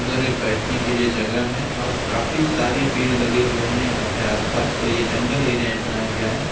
उधर एक बैठने के लिए जगह है और काफी सारे पेड़ लगे हुए हैं यहां पे आसपास तो यहां जंगल एरिया में बनाया गया है।